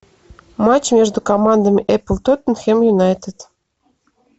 матч между командами апл тоттенхэм юнайтед